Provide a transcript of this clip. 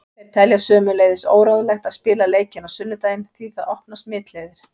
Þeir telja sömuleiðis óráðlegt að spila leikinn á sunnudaginn því það opnar smitleiðir.